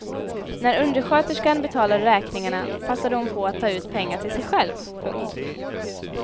När undersköterskan betalade räkningarna passade hon på att ta ut pengar till sig själv. punkt